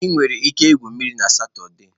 Ị nwere ike igwu mmiri na Satọde.